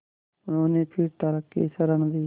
उन्होंने फिर तर्क की शरण ली